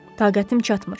Taqətim çatmır.